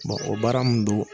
Bon o baara min don.